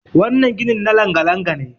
wannan ginin na langa- langa- ne